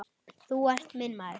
Þú ert minn maður